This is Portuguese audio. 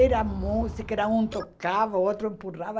Era música, era um tocava, o outro empurrava.